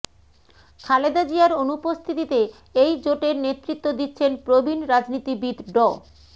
খালেদা জিয়ার অনুপস্থিতিতে এই জোটের নেতৃত্ব দিচ্ছেন প্রবীণ রাজনীতিবিদ ড